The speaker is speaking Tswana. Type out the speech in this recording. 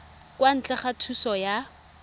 kwa ntle ga thuso ya